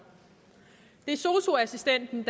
det er sosu assistenten